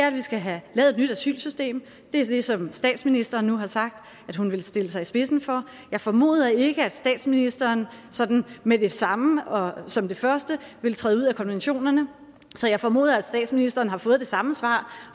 at vi skal have lavet et nyt asylsystem det er det som statsministeren nu har sagt at hun vil stille sig i spidsen for jeg formoder ikke at statsministeren sådan med det samme og som det første vil træde ud af konventionerne så jeg formoder at statsministeren har fået det samme svar